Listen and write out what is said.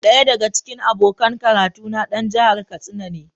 Daya daga cikin abokan karatuna dan jihar Katsina ne.